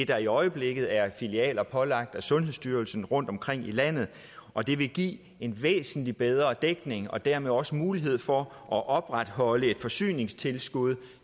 der i øjeblikket er filialer pålagt af sundhedsstyrelsen rundtomkring i landet og det vil give en væsentlig bedre dækning og dermed også mulighed for at opretholde et forsyningstilskud